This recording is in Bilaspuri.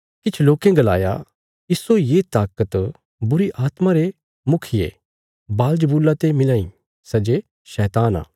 किछ लोकें गलाया इस्सो ये ताकत बुरीआत्मा रे मुखिये बालज़बूला ते मिलां इ सै जे शैतान आ